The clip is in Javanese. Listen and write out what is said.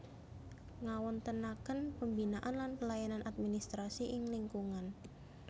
Ngawontenaken pembinaan lan pelayanan administrasi ing lingkungan